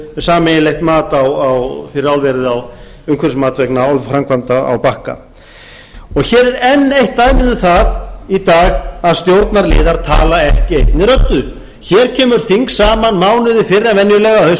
sameiginlegt umhverfismat fyrir álverið á bakka hér er enn eitt dæmið um það í dag að stjórnarliðar tala ekki einni röddu hér kemur þing saman mánuði fyrr en venjulega að